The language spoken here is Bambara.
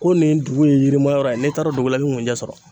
Ko nin dugu ye yirimayɔrɔ ye n'e taara o dugu la e be kunɲɛ sɔrɔ